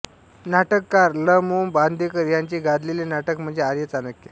नाटककार ल मो बांदेकर यांचे गाजलेले नाटक म्हणजे आर्य चाणक्य